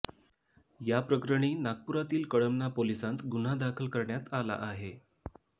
या प्रकरणी नागपुरातील कळमना पोलिसांत गुन्हा दाखल करण्यात आला आहे